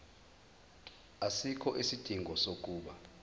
asikho isidingo sokuba